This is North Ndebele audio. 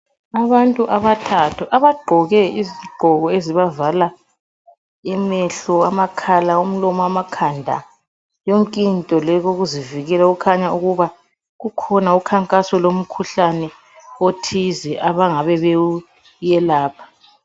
Abantu abathathu abagqoke izigqoko ezibavala amehlo, amakhala imlomo amakhanda yonkinto ukuzivikela okukhanya ukuba kukhona ukhankaso lomkhuhlane othize abangabe bewuyelapha.